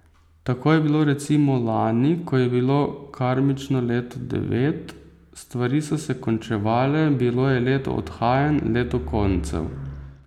Tako je bilo recimo lani, ko je bilo karmično leto devet, stvari so se končevale, bilo je leto odhajanj, leto koncev.